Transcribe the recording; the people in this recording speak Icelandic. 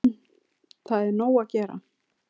Það er nóg að gera.